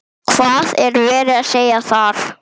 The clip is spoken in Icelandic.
Hvað er verið að segja þar?